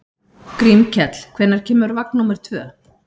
Grímkell, hvenær kemur vagn númer tvö?